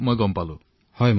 হয় ডাঙৰীয়া